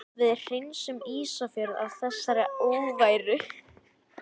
Við hreinsum Ísafjörð af þessari óværu!